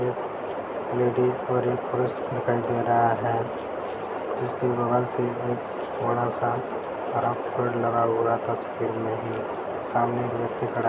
एक लेडीज और एक पुरुष दिखाई दे रहा है जिसके बगल से एक बड़ा सा हरा पेड़ लगा हुआ है तस्वीर में ही सामने एक व्यक्ति खड़ा है।